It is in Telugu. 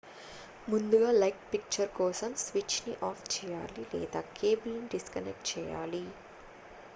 ముందుగా లైట్ ఫిక్చర్ కోసం స్విచ్ ని ఆఫ్ చేయాలి లేదా కేబుల్ ని డిస్కనెక్ట్ చేయాలి